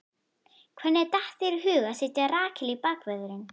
Hvernig datt þér í hug að setja Rakel í bakvörðinn?